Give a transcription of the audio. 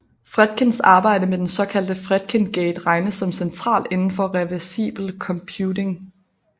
Fredkins arbejde med den såkaldte Fredkin Gate regnes som centralt inden for reversibel computing